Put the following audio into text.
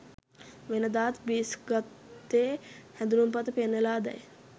වෙනදාත් ග්‍රීස් ගත්තේ හැඳුනුම්පත පෙන්නලාදැයි